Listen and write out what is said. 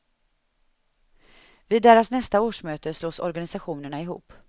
Vid deras nästa årsmöte slås organisationerna ihop.